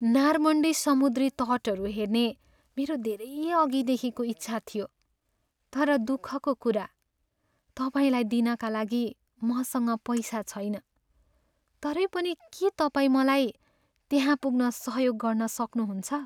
Normandy समुद्री तटहरू हेर्ने मेरो धेरै अघिदेखिको इच्छा थियो, तर दुःखको कुरा, तपाईँलाई दिनका लागि मसँग पैसा छैन। तरै पनि के तपाईँ मलाई त्यहाँ पुग्न सहयोग गर्न सक्नुहुन्छ?